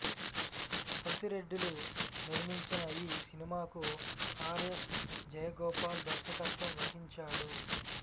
సత్తిరెడ్డి లు నిర్మించిన ఈ సినిమాకు ఆర్ ఎస్ జయగోపాల్ దర్శకత్వం వహించాడు